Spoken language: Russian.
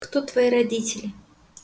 кто твои родители